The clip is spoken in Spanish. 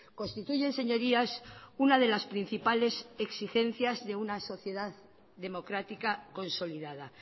constituyen señorías una de las principales exigencias de una sociedad democrática consolidada